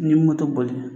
N'i ye moto boli